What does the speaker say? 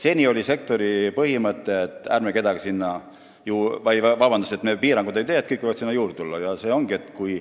Seni kehtis sektoris põhimõte, et me piiranguid ei tee, kõik võivad sinna juurde tulla.